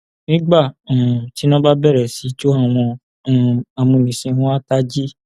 nígbà um tí iná bá bẹrẹ sí í jó àwọn um amúnisìn wọn àá tají